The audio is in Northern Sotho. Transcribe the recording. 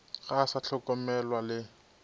ga a sa hlokomelwa le